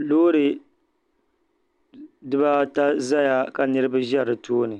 Loori dibaata zaya ka niriba za di tooni